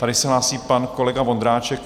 Tady se hlásí pan kolega Vondráček.